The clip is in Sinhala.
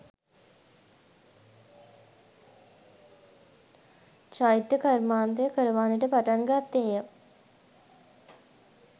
චෛත්‍ය කර්මාන්තය කරවන්නට පටන් ගත්තේ ය.